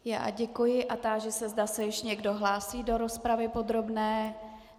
Já děkuji a táži se, zda se ještě někdo hlásí do rozpravy podrobné.